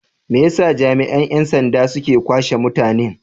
Me yasa jami'an 'yan sanda suke kwashe mutanen?